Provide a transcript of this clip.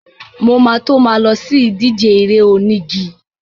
Mo ma tó ma lọ sí ìdíje eré onígi.